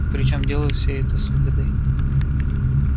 причём делают все это с выгодой